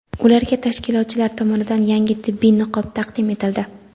ularga tashkilotchilar tomonidan yangi tibbiy niqob taqdim etildi.